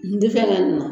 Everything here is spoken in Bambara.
N tɛ fɛn na